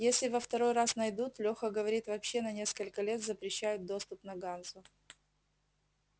если во второй раз найдут лёха говорит вообще на несколько лет запрещают доступ на ганзу